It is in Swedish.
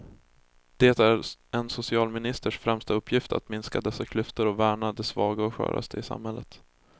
Det är en socialministers främsta uppgift att minska dessa klyftor och värna de svaga och sköraste i samhället.